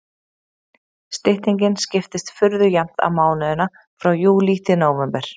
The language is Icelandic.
Styttingin skiptist furðu jafnt á mánuðina frá júlí til nóvember.